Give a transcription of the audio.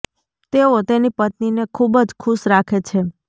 તેઓ તેની પત્ની ને ખુબ જ ખુશ રાખે છે